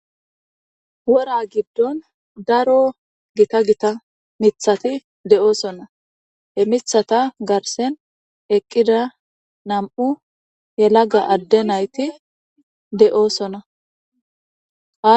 Wora giddon daro gitta gitta miththatti de'osoona. He miththata garsen eqqida nam'u yelaga adde naytti de'osoona.